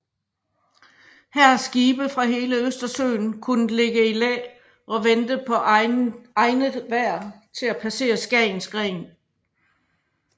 Her har skibe fra hele Østersøen kunnet ligge i læ og vente på egnet vejr til at passere Skagens Gren